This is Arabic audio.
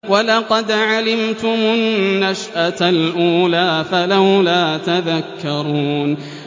وَلَقَدْ عَلِمْتُمُ النَّشْأَةَ الْأُولَىٰ فَلَوْلَا تَذَكَّرُونَ